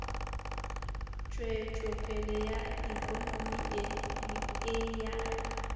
tšwetšopele ya ikonomi le ya